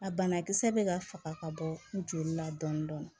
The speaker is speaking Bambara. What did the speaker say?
A banakisɛ bɛ ka faga ka bɔ joli la dɔɔni dɔɔni